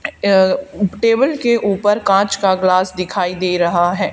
Table के ऊपर कांच का ग्लास दिखाई दे रहा है।